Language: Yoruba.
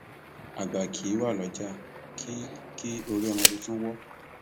àgbà kì í wá lọjà kí kí orí ọmọ tuntun wọ